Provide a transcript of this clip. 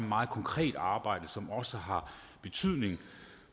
meget konkret arbejde som også har betydning